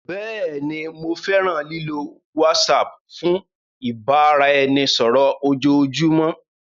Bẹẹni, Mo fẹran lilo WhatsApp fun ibaraẹnisọrọ ojoojumọ.